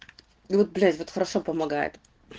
вот блять вот хорошо помогает